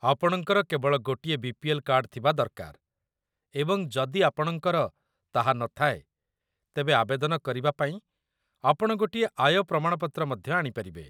ଆପଣଙ୍କର କେବଳ ଗୋଟିଏ ବି.ପି.ଏଲ୍. କାର୍ଡ ଥିବା ଦରକାର, ଏବଂ ଯଦି ଆପଣଙ୍କର ତାହା ନଥାଏ, ତେବେ ଆବେଦନ କରିବାପାଇଁ ଆପଣ ଗୋଟିଏ ଆୟ ପ୍ରମାଣପତ୍ର ମଧ୍ୟ ଆଣିପାରିବେ